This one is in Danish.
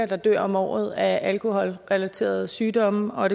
der dør om året af alkoholrelaterede sygdomme og